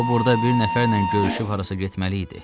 O burada bir nəfərlə görüşüb harasa getməli idi.